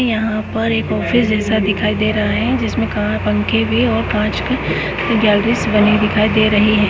यहाँ पर ऑफिस जैसा दिखाई दे रहा है जिसमे पंखे भी और कांच की गैलरीस बनी दिखाई दे रही है।